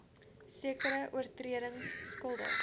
sekere oortredings skuldig